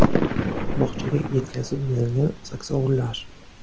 Bog‘chaga yetkazib berilgan saksovullar.